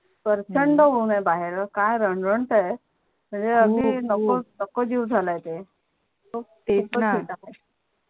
प्रचंड ऊंन आहे बाहेर काय रंगत आहे म्हणजे अगदी खूप खूप नको नको जीव झाला आहे ते खूपच हीट आहे तेच णा